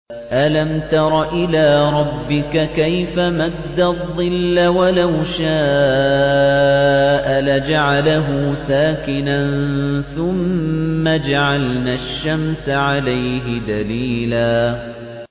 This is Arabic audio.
أَلَمْ تَرَ إِلَىٰ رَبِّكَ كَيْفَ مَدَّ الظِّلَّ وَلَوْ شَاءَ لَجَعَلَهُ سَاكِنًا ثُمَّ جَعَلْنَا الشَّمْسَ عَلَيْهِ دَلِيلًا